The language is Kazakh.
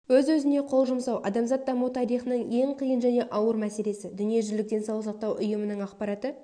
өз-өзіне қол жұмсау адамзат даму тарихының ең қиын және ауыр мәселесі дүниежүзілік денсаулық сақтау ұйымының ақпараты